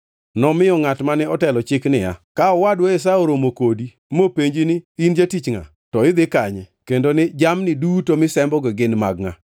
Nomiyo ngʼat mane otelo chik niya, “Ka owadwa Esau oromo kodi mopenji ni, ‘In jatich ngʼa, to idhi kanye kendo ni jamni duto misembogi gin mag ngʼa?’